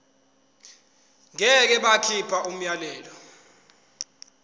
ngeke bakhipha umyalelo